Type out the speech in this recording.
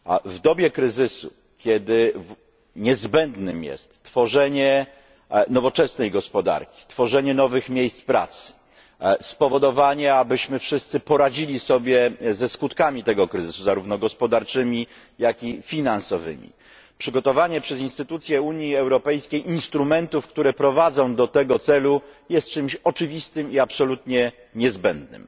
W dobie kryzysu kiedy niezbędne jest tworzenie nowoczesnej gospodarki, tworzenie nowych miejsc pracy, spowodowanie, abyśmy wszyscy poradzili sobie ze skutkami tego kryzysu, zarówno gospodarczymi, jak i finansowymi przygotowanie przez instytucje Unii Europejskiej instrumentów, które prowadzą do tego celu, jest czymś oczywistym i absolutnie niezbędnym.